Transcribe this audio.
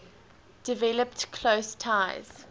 developed close ties